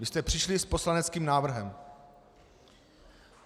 Vy jste přišli s poslaneckým návrhem.